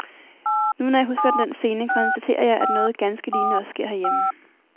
Nu, når jeg husker den scene, konstaterer jeg, at noget ganske lignende også sker herhjemme.